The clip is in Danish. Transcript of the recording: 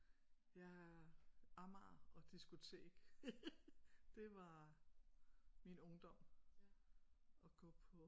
Ja Amager og diskotek det var min ungdom at gå på